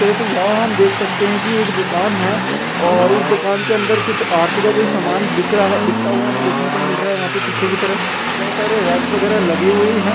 तो यहाँ हम देख सकते है की एक दुकान है और उस दुकान के अंदर आरती का कोई सामान बिक रहा बिकता हुआ हमें देखने को मिल रहा है। वहाँ पे पीछे की तरफ बोहोत सारे रैक्स सारे वगैरह लगे हुए है ।